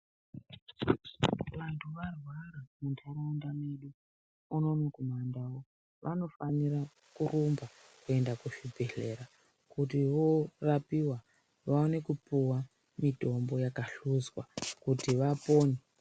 Vantu varwara muntaraunda medu unono kumandau vanofanira kurumba kuenda kuzvibhedhlera kuti voorapiwa vaone kupuwa mitombo yakahluzwa kuti vapona.